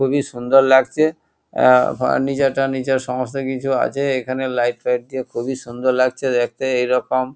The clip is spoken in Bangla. খুবই সুন্দর লাগছে। এ ফার্নিচার টার্নিচার সমস্ত কিছু আছে। এখানে লাইট ফাইট দিয়ে খুবই সুন্দর লাগছে দেখতে। এই রকম--